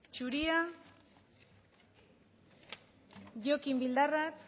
zuria jokin bildarratz